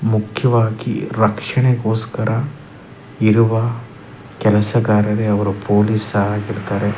ಮುಖ್ಯವಾಗಿ ರಕ್ಷಣೆಗೋಸ್ಕರ ಇರುವ ಕೆಲ್ಸಗಾರರೆ ಅವ್ರು ಪೋಲೀಸ್ ಆಗಿರ್ತಾರೆ .